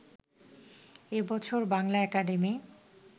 এ বছর বাংলা একাডেমি